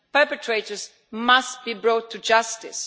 Perpetrators must be brought to justice.